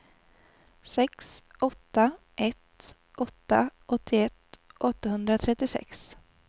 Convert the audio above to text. sex åtta ett åtta åttioett åttahundratrettiosex